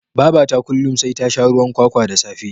Babata kullin sai ta sha ruwan kwakwa da safe